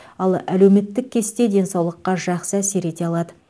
ал әлеуметтік кесте денсаулыққа жақсы әсер ете алады